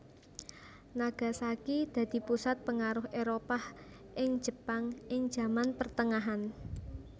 Nagasaki dadi pusat pengaruh Éropah ing Jepang ing zaman pertengahan